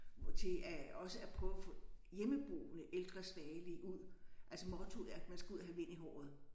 Til at også at prøve at få hjemmeboende ældre svagelige ud. Altså mottoet er at man skal ud og have vind i håret